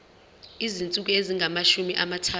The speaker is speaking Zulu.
izinsuku ezingamashumi amathathu